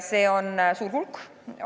See on suur hulk.